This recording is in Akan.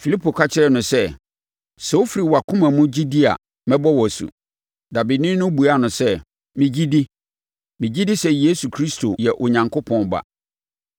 Filipo ka kyerɛ no sɛ, “Sɛ wofiri wʼakoma mu gye di a, mɛbɔ wo asu.” Dabeni no buaa no sɛ, “Megye di. Megye di sɛ Yesu Kristo yɛ Onyankopɔn Ba.”